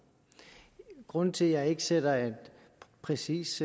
grunden til at jeg ikke sætter en præcis